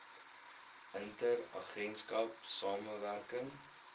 inter agentskap samewerking